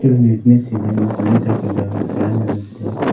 ಇಲ್ಲಿ ನೀಟ್ನೆಸ್ ಇದೆ ಮತ್ ಲೈಟ್ ಹಾಕಿದ್ದಾರೆ ಫ್ಯಾನ್ ಇರುತ್ತೆ.